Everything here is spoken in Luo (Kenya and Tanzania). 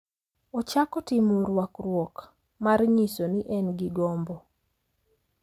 Ochako timo rwakruok mar nyiso ni en gi gombo,